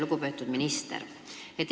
Lugupeetud minister!